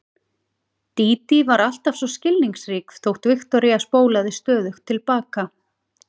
Dídí var alltaf svo skilningsrík þótt Viktoría spólaði stöðugt til baka.